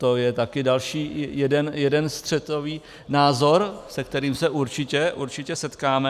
To je taky další jeden střetový názor, se kterým se určitě setkáme.